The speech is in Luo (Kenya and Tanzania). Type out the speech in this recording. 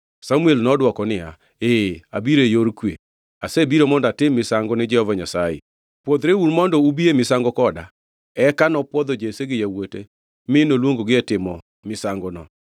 Samuel nodwoko niya, “Ee, abiro e yor kwe. Asebiro mondo atim misango ni Jehova Nyasaye. Pwodhreuru mondo ubi e misango koda.” Eka nopwodho Jesse gi yawuote mi noluongogi e timo misangono.